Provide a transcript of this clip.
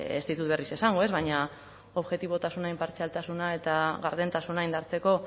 ez ditut berriz esango ez baina objektibotasuna inpartzialtasuna eta gardentasuna indartzeko